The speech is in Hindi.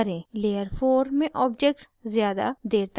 layer four में objects ज़्यादा layer तक नहीं दिखते